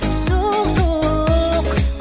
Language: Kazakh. жоқ жоқ